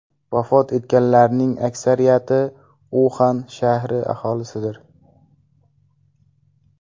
Vafot etganlarning aksariyati Uxan shahri aholisidir.